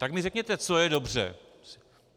Tak mi řekněte, co je dobře.